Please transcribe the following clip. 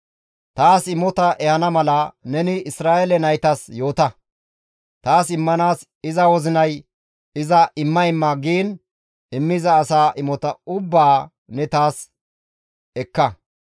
«Taas imota ehana mala neni Isra7eele naytas yoota; taas immanaas iza wozinay iza imma imma giin immiza asa imota ubbaa ne taas ekka.